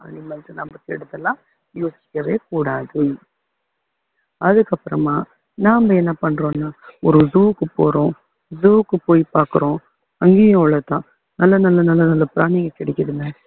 animals னா யோசிக்கவே கூடாது அதுக்கப்புறமா நாம என்ன பண்றோம்னா ஒரு zoo க்கு போறோம் zoo க்கு போய் பாக்குறோம் அங்கேயும் அவ்வளவுதான் நல்ல நல்ல நல்ல பிராணிங்க கிடைக்குதுங்க